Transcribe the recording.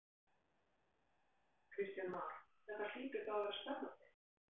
Kristján Már: Þetta hlýtur þá að vera spennandi?